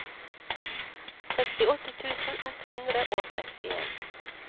sekstiåtte tusen ett hundre og sekstien